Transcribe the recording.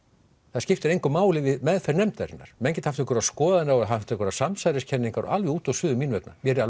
það skiptir engu máli við meðferð nefndarinnar menn geta haft einhverjar skoðanir og haft einhverjar samsæriskenningar alveg út og suður mín vegna mér er